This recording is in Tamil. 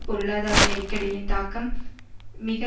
பொருளாதார நெருக்கடியின் தாக்கம் மிக